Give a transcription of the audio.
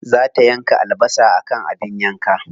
Za ta yanka albasa akan abin yanka.